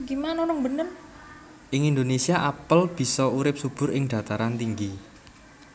Ing Indonésia apel bisa urip subur ing dhataran tinggi